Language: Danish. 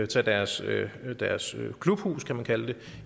tage deres deres klubhus kan man kalde det